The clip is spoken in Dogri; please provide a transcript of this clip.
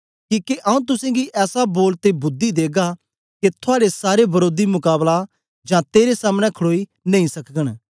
किके आऊँ तुसेंगी ऐसा बोल ते बुद्धि देगा के थुआड़े सारे वरोधी मकाबला जां तेरे सामने खड़ोई नेई सकगन